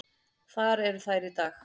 Þar eru þær í dag.